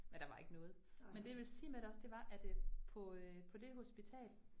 Men der var ikke noget, men det jeg ville sige med det også det var øh, at på øh på det hospital